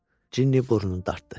Cini burnunu dartdı.